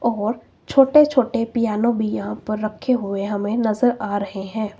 और छोटे छोटे पियानो भी यहां पर रखे हुए हमें नजर आ रहे हैं।